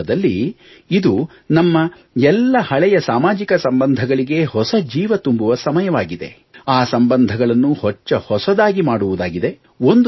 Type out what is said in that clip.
ವಾಸ್ತವದಲ್ಲಿ ಇದು ನಮ್ಮ ಎಲ್ಲಾ ಹಳೆಯ ಸಾಮಾಜಿಕ ಸಂಬಂಧಗಳಿಗೆ ಹೊಸ ಜೀವ ತುಂಬುವ ಸಮಯವಾಗಿದೆ ಆ ಸಂಬಂಧಗಳನ್ನು ಹೊಚ್ಚ ಹೊಸದಾಗಿ ಮಾಡುವುದಾಗಿದೆ